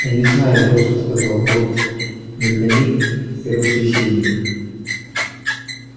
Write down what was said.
я не знаю жёстко сказал борт он для них первосвященник